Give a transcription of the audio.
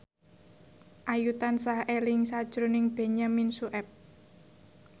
Ayu tansah eling sakjroning Benyamin Sueb